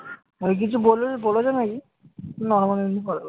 ওকে কিছু বলবে বলেছো নাকি? normal এমনি কথা বলেছো?